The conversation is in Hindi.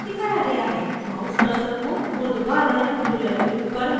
mouse cursor को ऊर्ध्वाधर ruler के ऊपर move करें